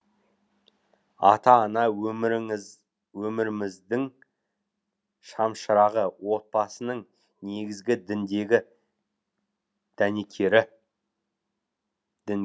ата ана өміріміз өміріміздің шамшырағы отбасының негізгі дінгегі дәнекері